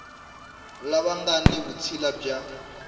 lava nga ni vutshila bya